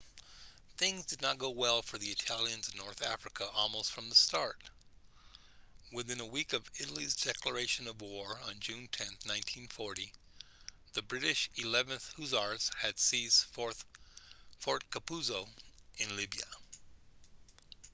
things did not go well for the italians in north africa almost from the start within a week of italy's declaration of war on june 10 1940 the british 11th hussars had seized fort capuzzo in libya